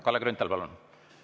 Kalle Grünthal, palun!